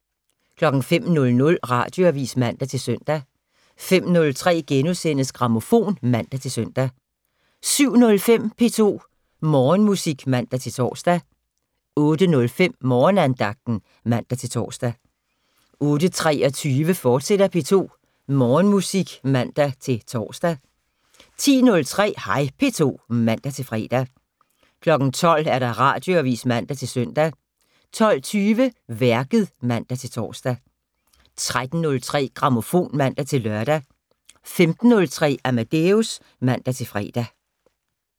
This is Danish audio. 05:00: Radioavis (man-søn) 05:03: Grammofon *(man-søn) 07:05: P2 Morgenmusik (man-tor) 08:05: Morgenandagten (man-tor) 08:23: P2 Morgenmusik, fortsat (man-tor) 10:03: Hej P2 (man-fre) 12:00: Radioavis (man-søn) 12:20: Værket (man-tor) 13:03: Grammofon (man-lør) 15:03: Amadeus (man-fre)